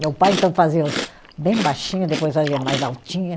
Meu pai, então, fazia os bem baixinho, depois fazia mais altinha.